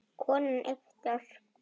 Konan yppti öxlum.